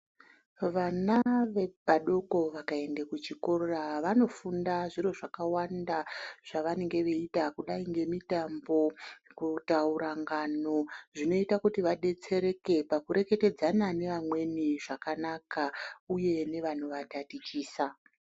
Vana vadoko vakaende kuchikora vanofunda zviro zvakawanda zvevanenge veiita zvakadai ngemitambo, kutaura ngano, zvinoita kuti vadetsereke pakureketedzana neamweni zvakanaka uye nevanovatatichisa.